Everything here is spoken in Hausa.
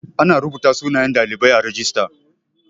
Ana rubuta sunayen ɗalibai a rajista